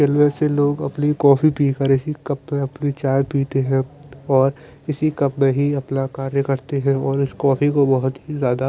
railway से लोग अपनी कॉफी पी कर इस ही कप में अपनी चाय पीते हैं और इस कप में ही अपना कार्य करते हैं और उस कॉफ़ी को बहुत ही ज्यादा --